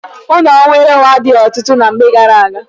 Ọnụ nwere onwe adịghị ọtụtụ ná mgbe gaara aga.